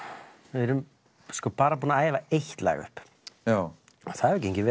við erum sko bara búin að æfa eitt lag upp já það hefur gengið